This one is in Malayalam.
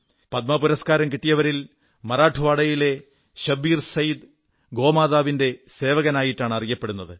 പത്മ പുരസ്കാരം കിട്ടിയവരിൽ മറാഠ്വാഡയിലെ ശബ്ബീർ സൈയദ് ഗോമാതാവിന്റെ സേവകനായിട്ടാണ് അറിയപ്പെടുന്നത്